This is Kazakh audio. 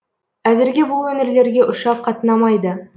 әзірге бұл өңірлерге ұшақ қатынамайды